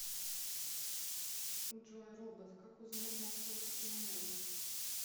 джой робот как узнать на сколько ты умен